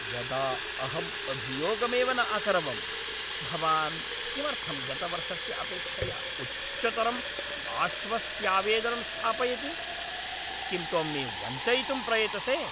यदा अहम् अभियोगमेव न अकरवम्, भवान् किमर्थं गतवर्षस्य अपेक्षया उच्चतरम् आश्वस्त्यावेदनं स्थापयति? किं त्वं मे वञ्चयितुं प्रयतसे?